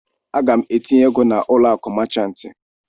Aga m etinye ego na ụlọ akụ machantị.